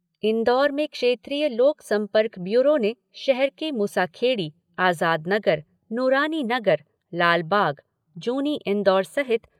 इन्दौर में क्षेत्रीय लोक संपर्क ब्यूरो ने शहर के मुसाखेड़ी, आज़ाद नगर, नूरानी नगर, लालबाग, जूनी इंदौर सहित